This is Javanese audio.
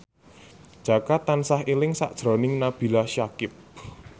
Jaka tansah eling sakjroning Nabila Syakieb